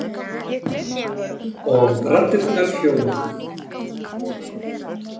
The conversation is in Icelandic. Og raddirnar hljóma